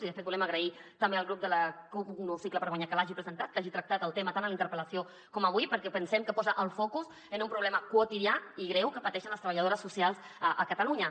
i de fet volem agrair també al grup de la cup · un nou cicle per guanyar que l’hagi presentat que hagi tractat el tema tant en la interpel·lació com avui perquè pensem que posa el focus en un problema quotidià i greu que pateixen les treballadores so·cials a catalunya